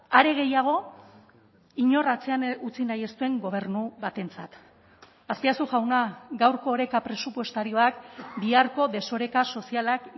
are gehiago inor atzean utzi nahi ez den gobernu batentzat azpiazu jauna gaurko oreka presupuestarioak biharko desoreka sozialak